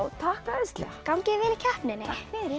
takk æðislega gangi þér vel í keppninni takk fyrir